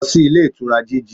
Lọ sí Ilé Ìtura GG